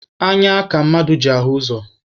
Anya ka mmadụ ji ahụ ụzọ.